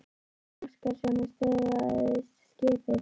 Gísli Óskarsson: Og stöðvaðist skipið?